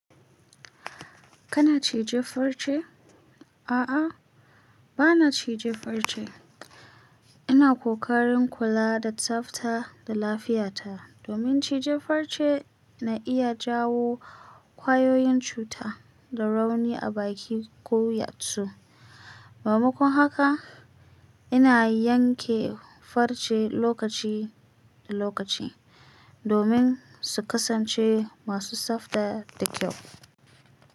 Kana cije farce? A'a, ba na cije farce. Ina kokarin kula da tsafta da lafiyarta domin cije farce na iya jawo ƙwayoyin cuta da rauni a baki ko yatsu. Mamakon haka, ina yanke farce lokaci da lokaci domin su kasance masu tsafta da kyau.